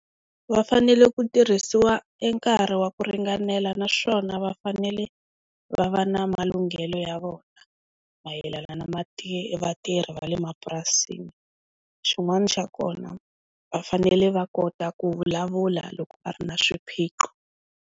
Va fanele ku tirhisiwa e nkarhi wa ku ringanela naswona va fanele va va na malunghelo ya vona, mayelana na vatirhi va le mapurasini xin'wana xa kona va fanele va kota ku vulavula loko va ri na swiphiqo.